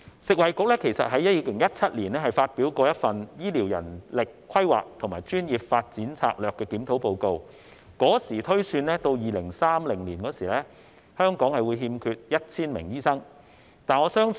食衞局在2017年發表了《醫療人力規劃和專業發展策略檢討》報告，當時推算到2030年香港會欠缺 1,000 名醫生。